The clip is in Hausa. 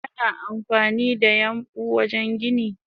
Ana amfanida yambu wajen gini.